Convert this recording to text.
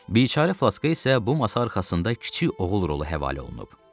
Biçarə Flaşka isə bu masa arxasında kiçik oğul rolu həvalə olunub.